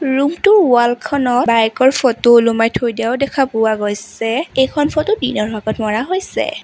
Room টোৰ wall খনত bike ৰ ফটো ওলমাই থৈ দিয়াও দেখা পোৱা গৈছে এইখন ফটো দিনৰ ভাগত মৰা হৈছে।